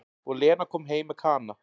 Og Lena kom heim með Kana.